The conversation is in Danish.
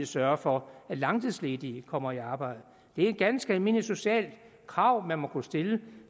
sørge for at langtidsledige kommer i arbejde det er et ganske almindeligt socialt krav man må kunne stille